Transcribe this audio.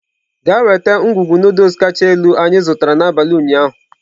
Gaa nweta ngwugwu Nụdụls kacha elu anyị zụtara n'abalị ụnyaahụ!.